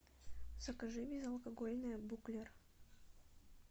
закажи безалкогольное буклер